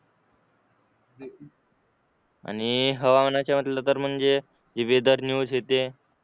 आणि हवामानाच्या म्हटलं तर म्हणजे वेदर न्यूज हे ते